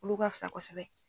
Olu ka fisa kosɛbɛ.